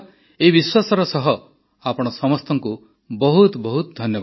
ଏହି ବିଶ୍ୱାସର ସହ ଆପଣ ସମସ୍ତଙ୍କୁ ବହୁତ ବହୁତ ଧନ୍ୟବାଦ